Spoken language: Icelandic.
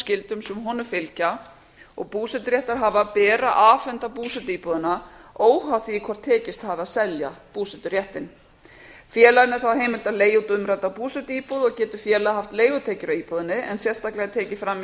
skyldum sem honum fylgja og búseturéttarhafa ber að afhenda búsetuíbúðina óháð því hvort tekist hafi að selja búseturéttinn félaginu er þá heimilt að leigja út umrædda búsetuíbúð og getur félagið haft leigutekjur af íbúðinni en sérstaklega er tekið fram í